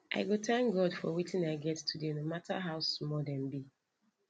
i go thank god for wetin i get today no matter how small dem be